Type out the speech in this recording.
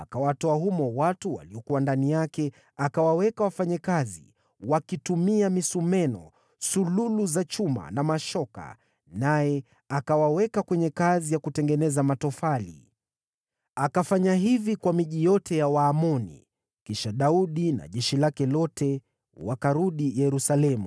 Akawatoa watu waliokuwa humo, akawaweka wafanye kazi kwa misumeno, sululu za chuma na mashoka, naye akawaweka kwenye kazi ya kutengeneza matofali. Akafanya hivi kwa miji yote ya Waamoni. Kisha Daudi na jeshi lake lote wakarudi Yerusalemu.